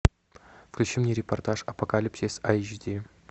включи мне репортаж апокалипсис айч ди